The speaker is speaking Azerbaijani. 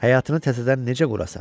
Həyatını təzədən necə qurasan?